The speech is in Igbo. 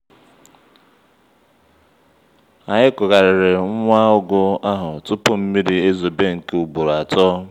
anyị kugharịrị nwa ụgụ ahụ tupu mmiri ezobe nke ugboro atọ